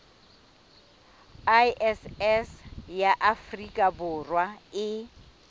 iss ya afrika borwa e